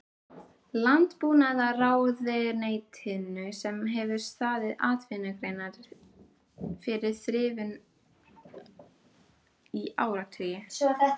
Landbúnaðarráðuneytinu sem hefur staðið atvinnugreininni fyrir þrifum í áratugi!